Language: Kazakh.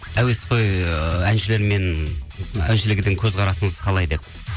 әуесқой ы әншілермен әншілерге деген көзқарасыңыз қалай деп